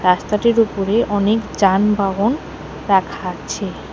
রাস্তাটির উপরে অনেক যানবাহন রাখা আছে।